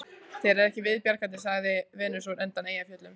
Þér er ekki viðbjargandi, sagði Venus undan Eyjafjöllum